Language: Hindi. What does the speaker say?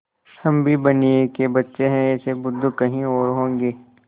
हम भी बनिये के बच्चे हैं ऐसे बुद्धू कहीं और होंगे